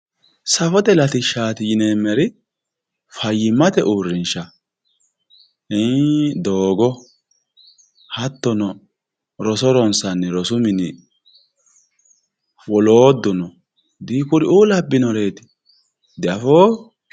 safote latishshaati yineemmori fayyimmate uurrinshaati doogo hattono roso ronsanni rosu mini woloodduno dikuri'u labbinoreeti diafoo>